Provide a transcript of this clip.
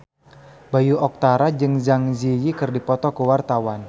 Bayu Octara jeung Zang Zi Yi keur dipoto ku wartawan